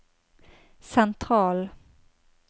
sentral